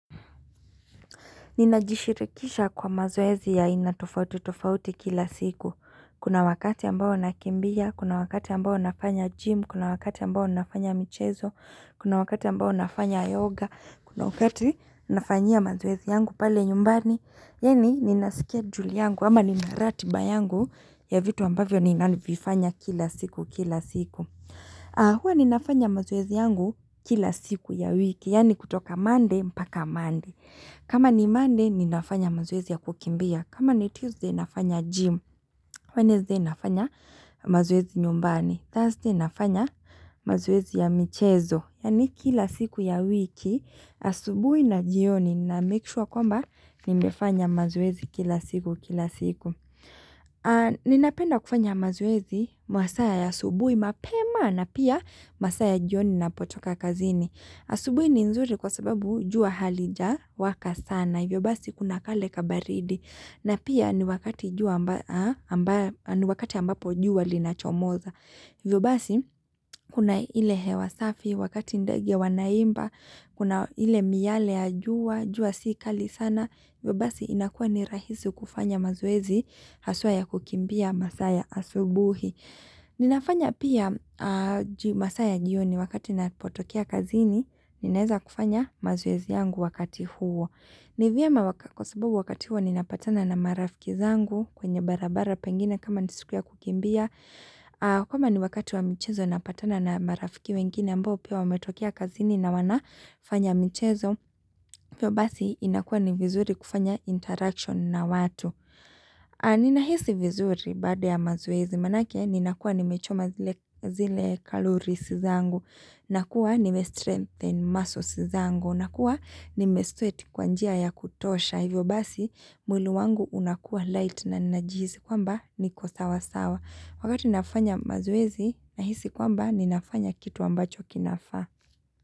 Ninajishirikisha kwa mazoezi ya aina tofauti tofauti kila siku. Kuna wakati ambao nakimbia, kuna wakati ambao nafanya gym, kuna wakati ambao nafanya michezo, kuna wakati ambao nafanya yoga, kuna wakati, nafanyia mazoezi yangu pale nyumbani. Yeni, nina schedule yangu, ama nina ratiba yangu, ya vitu ambavyo ninanivifanya kila siku kila siku. Huwa ninafanya mazoezi yangu, kila siku ya wiki, yani kutoka monday mpaka monday. Kama ni monday, ninafanya mazoezi ya kukimbia. Kama ni Tuesday, nafanya gym. Wednesday, nafanya mazoezi nyumbani. Thursday, nafanya, mazoezi ya michezo. Yani kila siku ya wiki, asubui na jioni na make sure kwamba, nimefanya mazoezi kila siku, kila siku. Ninapenda kufanya mazoezi, masaa ya hasubui mapema na pia, masaa ya jioni napotoka kazini. Asubuhi ni nzuri kwa sababu jua halija waka sana, hivyo basi kuna kale kabaridi, na pia ni wakati jua amba a amba ni wakati ambapo jua linachomoza. Hivyo basi, kuna ile hewa safi, wakati ndege wanaimba, kuna ile miale ya jua, jua si kali sana, hivyo basi inakuwa ni rahisi kufanya mazoezi, haswaa ya kukimbia masaa ya asubuhi. Ninafanya pia a jio masaa ya jioni wakati napotokea kazini, ninaeza kufanya mazoezi yangu wakati huo. Ni vyema wak kwa sababu wakati huo ninapatana na marafiki zangu, kwenye barabara pengine kama ni siku ya kukimbia, a kama ni wakati wa mchezo napatana na marafiki wengine ambao pia wametokea kazini na wana fanya michezo Pio basi, inakuwa ni vizuri kufanya interaction na watu. An Ninahisi vizuri baada ya mazoezi, maanake ninakuwa nimechoma zile zile kalories zangu. Nakuwa nime-strengthen muscles zangu, nakua nime-strate kwa njia ya kutosha. Hivyo basi, mwili wangu unakuwa light na ninajihizi kwamba, niko sawa sawa. Wakati nafanya mazoezi, nahisi kwamba ninafanya kitu ambacho kinafaa.